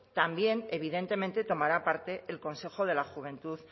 también evidentemente tomará parte el consejo de la juventud